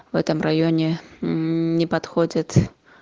в этом районе мм не подходит